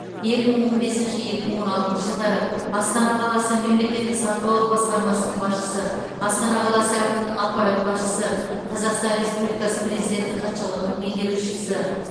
екі мың он бесінші екі мың он алтыншы жылдары астана қаласы мемлекеттік сатып алу басқармасының басшысы астана қаласы әкімінің аппарат басшысы қазақстан республикасы президенті хатшылығының меңгерушісі